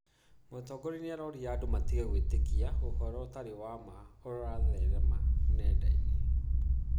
Mũtongoria nĩaroria andũ matige gwĩtĩkia ũhoro ũtarĩ wa ma ũrĩa ũratherema nenda-inĩ